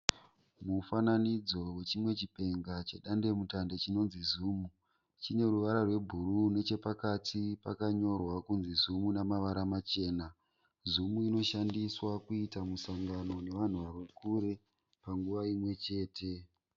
Mufananidzo wechimwe chipenga chedandemutande chinonzi zoom. Chine ruvara rwebhuru. Nechepakati pakanyorwa kunzi Zoom nemavara machena. Zoom inoshandiswa kuita musangano nevanhu vari kure panguva imwe chete.